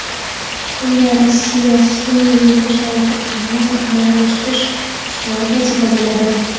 unda Rossiya sunʼiy yo‘ldoshlar turkumini moliyalashtirish ustuvor vazifa bo‘ladi.